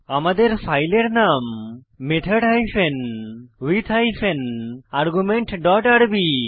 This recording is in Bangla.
আমাদের ফাইলের নাম method hyphen with hyphen argument dot আরবি